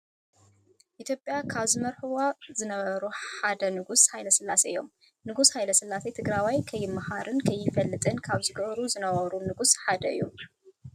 ኢትዮጵያ ካብ ዝመርሕዋ ዝነበሩ ሓደ ንጉስ ሃይለስላሴ እዮም። ንጉስ ሃይለ ስላሴ ትግራዋይ ከይማሃርን ከይፈልጥን ካብ ዝገብሩ ዝነበሩ ንጉስ ሓደ እዮም።